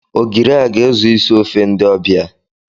Ogiri a ga-ezu isi ofe ndị ọbịa.